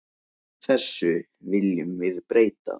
Þessu viljum við breyta.